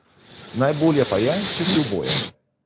Najbolje pa je, če si oboje.